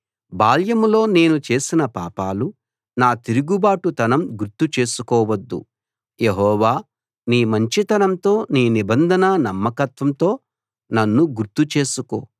బాల్యంలో నేను చేసిన పాపాలు నా తిరుగుబాటుతనం గుర్తు చేసుకోవద్దు యెహోవా నీ మంచితనంతో నీ నిబంధన నమ్మకత్వంతో నన్ను గుర్తు చేసుకో